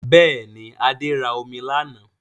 Bẹ́ẹ̀ni, Adé ra omi lánàá